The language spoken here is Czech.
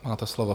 Máte slovo.